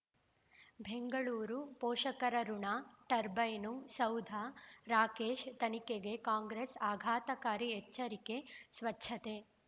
ಬೆಂಗಳೂರು ಪೋಷಕರಋಣ ಟರ್ಬೈನು ಸೌಧ ರಾಕೇಶ್ ತನಿಖೆಗೆ ಕಾಂಗ್ರೆಸ್ ಆಘಾತಕಾರಿ ಎಚ್ಚರಿಕೆ ಸ್ವಚ್ಛತೆ